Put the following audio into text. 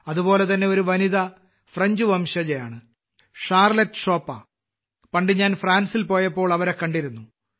അതുപോലെതന്നെ ഒരു വനിത ഫ്രഞ്ച് വംശജയാണ് ഷാർലറ്റ് ഷോപ്പ പണ്ട് ഞാൻ ഫ്രാൻസിൽ പോയപ്പോൾ അവരെ കണ്ടിരുന്നു